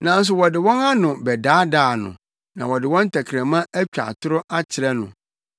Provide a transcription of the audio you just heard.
Nanso wɔde wɔn ano bɛdaadaa no, na wɔde wɔn tɛkrɛma atwa atoro akyerɛ no;